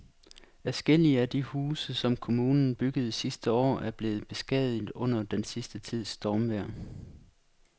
Adskillige af de huse, som kommunen byggede sidste år, er blevet beskadiget under den sidste tids stormvejr.